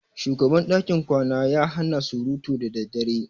Shugaban dakin kwana ya hana surutu da daddare.